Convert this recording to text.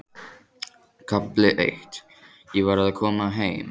KAFLI EITT Ég var að koma heim.